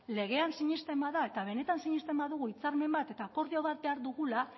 legean sinesten bada eta benetan sinesten badugu hitzarmen eta akordio bat behar dugula